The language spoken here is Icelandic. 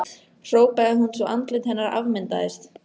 hrópaði hún svo andlit hennar afmyndaðist.